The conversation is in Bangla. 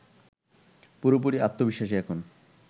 পুরোপুরি আত্নবিশ্বাসী এখন